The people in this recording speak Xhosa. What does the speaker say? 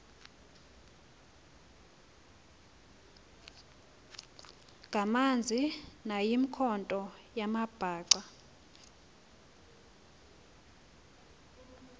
ngamanzi nayimikhonto yamabhaca